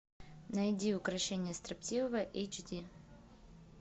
найди укрощение строптивого эйч ди